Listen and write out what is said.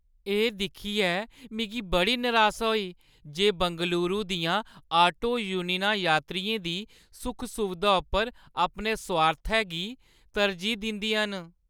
एह् दिक्खियै मिगी बड़ी नरासा होई जे बंगलूरू दियां आटो यूनियनां यात्रियें दी सुख-सुवधा उप्पर अपने सुआर्थै गी तरजीह् दिंदियां न ।